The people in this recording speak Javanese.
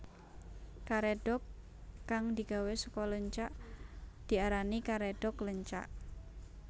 Karédhok kang digawé saka leunca diarani karedhok leunca